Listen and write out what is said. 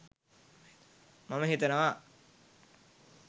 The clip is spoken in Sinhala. මම හිතනවා.